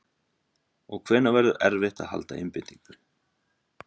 Og hvenær verður erfitt að halda einbeitingu?